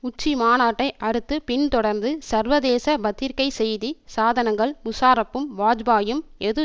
உச்சிமாநாட்டை அடுத்து பின்தொடர்ந்து சர்வதேச பத்திரிக்கை செய்தி சாதனங்கள் முஷாரப்பும் வாஜ்பாயும் எது